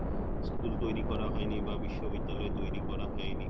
School তৈরি করা হয়নি বা বিশ্ববিদ্যালয় তৈরি করা হয়নি